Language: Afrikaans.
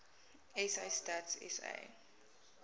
sa stats sa